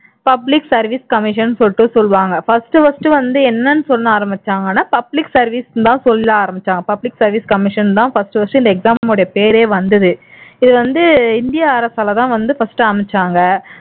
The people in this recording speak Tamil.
public service commission ன்னு சொல்லிட்டு சொல்லுவாங்க first first வந்து என்னன்னு சொல்ல ஆரம்பிச்சாங்கன்னா public service ன்னு தான் சொல்ல ஆரம்பிச்சாங்க public service commission ன்னுதான் இந்த exam னுடைய பேரே வந்தது இது வந்து இந்திய அரசாலதான் first அமைச்சாங்க